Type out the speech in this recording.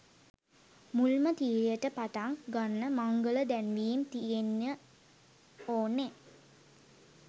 මුල්ම තීරයට පටන් ගන්න මංගල දැන්වීම් තියෙන්න ඕනනේ.